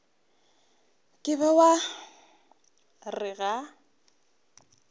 ka be wa re ga